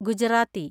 Gujarati